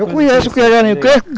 Eu conheço o que é garimpo